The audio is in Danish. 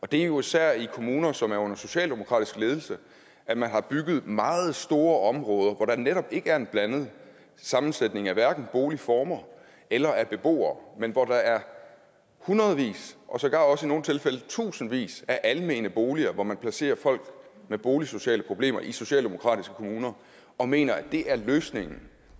det er jo især i kommuner som er under socialdemokratisk ledelse at man har bygget meget store områder hvor der netop ikke er en blandet sammensætning af hverken boligformer eller af beboere men hvor der er hundredvis og sågar også i nogle tilfælde tusindvis af almene boliger man placerer folk med boligsociale problemer i socialdemokratiske kommuner og mener at det er løsningen